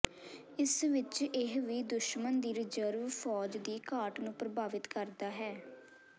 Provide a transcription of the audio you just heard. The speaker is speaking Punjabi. ਇਸ ਵਿਚ ਇਹ ਵੀ ਦੁਸ਼ਮਣ ਦੀ ਰਿਜ਼ਰਵ ਫ਼ੌਜ ਦੀ ਘਾਟ ਨੂੰ ਪ੍ਰਭਾਵਿਤ ਕਰਦਾ ਹੈ